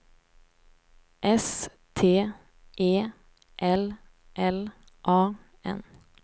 S T E L L A N